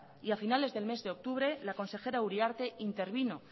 y a finales del mes de octubre la consejera uriarte intervino